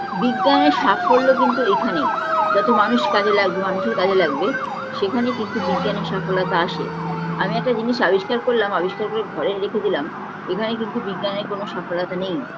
বিজ্ঞানের সাফল্য কিন্তু এইখানেই যাতে মানুষ কাজে লাগবে মানুষের কাজে লাগবে সেইখানেই কিন্তু বিজ্ঞানের সাফলতা আসে আমি একটা জিনিস আবিষ্কার করলাম আবিষ্কার করে ঘরে রেখে দিলাম এখানে কিন্তু বিজ্ঞানের কোনো সাফলতা নেই